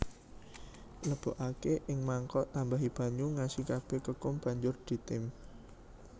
Lebokake ing mangkok tambahi banyu ngasi kabeh kekum banjur ditim